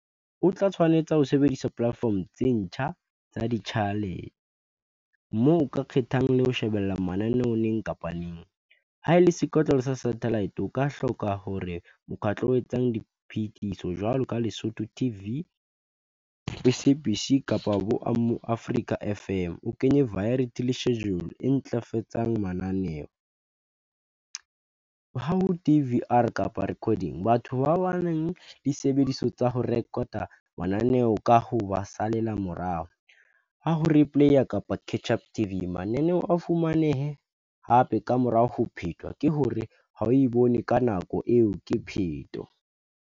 O tla tshwanetse ho sebedisa platform tse ntjha tsa moo o ka kgethang le ho shebella mananeo neng kapa neng ha ele sekotlolo sa satellite, o ka hloka hore mokgatlo o etsang diphehiso jwalo ka Lesotho T_V, S_A_B_C kapa bo Afrika F_M o kenye variety schedule e ntlafatsang mananeo ho T_V or kapa recording batho ba bang disebediswa tsa ho record-a mananeo ka ho ba salela morao ha ho replay a kapa catch up T_V mananeo a fumanehe hape ka morao ho phetwa ke hore ha o e bone ka nako eo ke pheto.